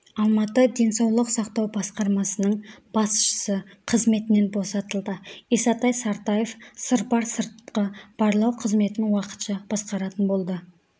алматы денсаулық сақтау басқармасының басшысы қызметінен босатылды исатай сартаев сырбар сыртқы барлау қызметін уақытша басқаратын болды